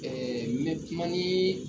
Ɛɛ n bɛ kuma ni